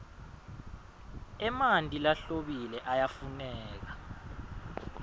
emanti lahlobile ayafuneka